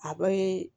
A bɛ